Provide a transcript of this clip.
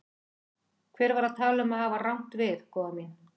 Hver var að tala um að hafa rangt við, góða mín.